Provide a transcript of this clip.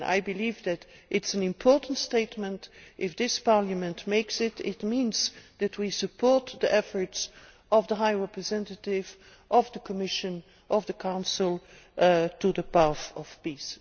I believe that this is an important statement if this Parliament makes it it means that we support the efforts of the High Representative, of the Commission and of the Council on the path to peace.